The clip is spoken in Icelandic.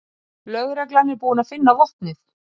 Lögreglan er búin að finna vopnið